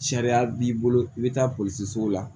Sariya b'i bolo i bɛ taa polisi sugu la